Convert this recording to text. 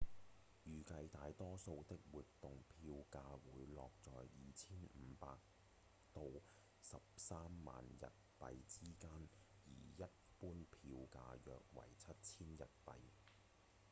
預計大多數的活動票價會落在 2,500 到 130,000 日幣之間而一般票價約為 7,000 日幣